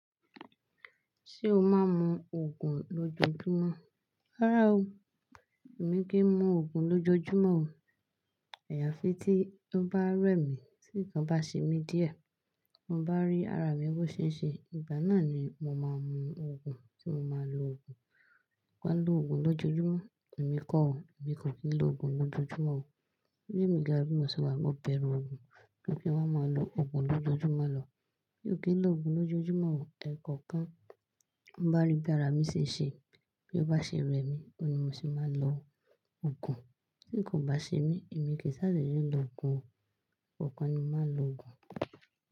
Ṣé o máa ń mu Ògùn lójoójúmọ́? Rárá o, èmi kì í mu Ògùn lójoójúmọ́ o. Ẹ̀yà fi tí to bá rẹ̀ mí, tí nǹkan bá ṣe mí díẹ̀, bi mo bá rí ara mi bó ṣe ń ṣe, ìgbà náà ni mo máa mu Ògùn, tí mo máa lo Ògùn. Wa lọ Ògùn lójoójúmọ́, èmi kọ̀ o, èmi kò kì í lo Ògùn lójoójúmọ́ o. Bí èmi gan bi mo se wà yi, mo bẹ̀rù Ògùn, kí n tó wá máa lo Ògùn lójoójúmọ́ lọ. Mi ò kí ń lo Ògùn lójoójúmọ́ o, ẹ kò kán. Bi mo bá rí bí ara mi ṣe ṣe, bí ó bá ṣe rẹ̀ mí, ọ́un ni mo se máa lo Ògùn. Bi nkan kò bá ṣe mí, èmi kì í sá dede ló Ògùn o. Kò kán ni mo máa n lo Ògùn.